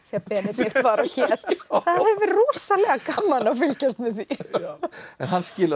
Benedikt var og hét það hefði verið rosalega gaman að fylgjast með því en hann skilaði